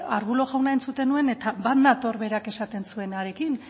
arbulo jauna entzuten nuen eta bat nator berak esaten zuenarekin